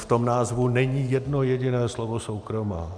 V tom názvu není jedno jediné slovo soukromá.